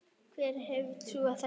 Hver hefði trúað þessu!